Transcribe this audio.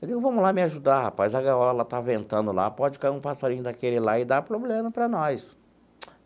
Eu digo, vamos lá me ajudar, rapaz, a gaiola está ventando lá, pode cair um passarinho daquele lá e dar problema para nós.